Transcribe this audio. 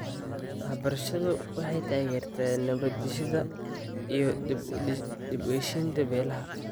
Waxbarashadu waxay taageertaa nabad-dhisidda iyo dib-u-heshiisiinta beelaha.